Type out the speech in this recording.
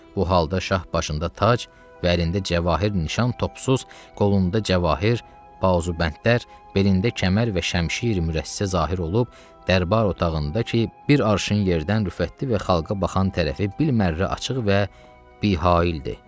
Bu halda şah başında tac, bəlində cəvahiri nişan topsuz, qolunda cəvahir, bazubəndlər, belində kəmər və şəmişir-i mürəsə zahir olub, dərbər otağında ki, bir arşın yerdən rüfətli və xalqa baxan tərəfi bimərrə açıq və bihaildir.